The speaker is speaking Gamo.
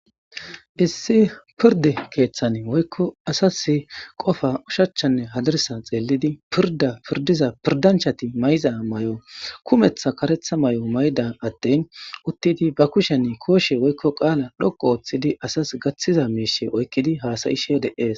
issi pirde keeththane woykko asas qofa ushachchanne hadarsa xeelidi pirda pirdiza pirdanchati may7iza may7o kumeththa karetha may7o mayda attin uttidi ba kushenne kooshe woykko qaala dhoqo ooththidi asas gaththiza miishe oykkidi haasayishe de7ees